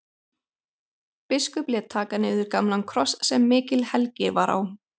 Biskup lét taka niður gamlan kross sem mikil helgi var á.